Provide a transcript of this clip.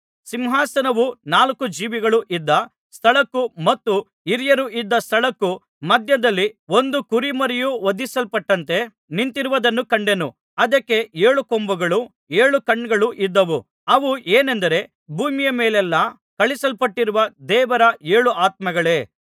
ಸಿಂಹಾಸನವು ನಾಲ್ಕು ಜೀವಿಗಳೂ ಇದ್ದ ಸ್ಥಳಕ್ಕೂ ಮತ್ತು ಹಿರಿಯರು ಇದ್ದ ಸ್ಥಳಕ್ಕೂ ಮಧ್ಯದಲ್ಲಿ ಒಂದು ಕುರಿಮರಿಯು ವಧಿಸಲ್ಪಟಂತೆ ನಿಂತಿರುವುದನ್ನು ಕಂಡೆನು ಅದಕ್ಕೆ ಏಳು ಕೊಂಬುಗಳೂ ಏಳು ಕಣ್ಣುಗಳೂ ಇದ್ದವು ಅವು ಏನೆಂದರೆ ಭೂಮಿಯ ಮೇಲೆಲ್ಲಾ ಕಳುಹಿಸಲ್ಪಟ್ಟಿರುವ ದೇವರ ಏಳು ಆತ್ಮಗಳೇ